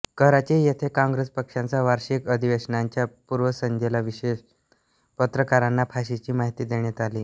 कराची येथे काँग्रेस पक्षाच्या वार्षिक अधिवेशनाच्या पूर्वसंध्येला विशेषत पत्रकारांना फाशीची माहिती देण्यात आली